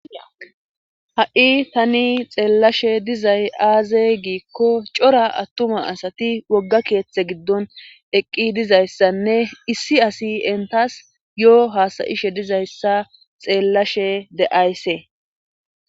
ha7i tani xeellashe dizay aaze giikko cora attuma asati wogga keeththe giddon eqqi dizayssanne issi asi entas yo7o haasayishe dizayssa xeellashe de7aaysse